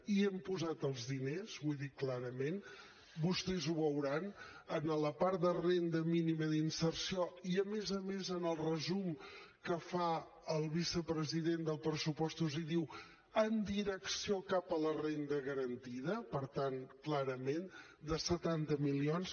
hi hem posat els diners ho he dit clarament vostès ho veuran en la part de renda mínima d’inserció i a més a més en el resum que fa el vicepresident del pressupostos hi diu en direcció cap a la renda garantida per tant clarament de setanta milions